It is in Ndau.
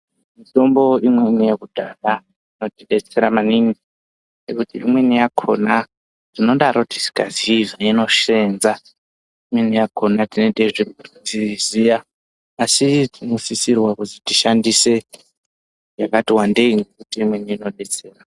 Mitombo imweni yekudhaya inotidetsera maningi ngekuti imweni yakona tinodaro tisingaziyi zvainosenza imweni yakona tinenge teizviziya asi tinosisirwa kuzi tishandise yakati wandeyi ngekuti imweni inodetsera.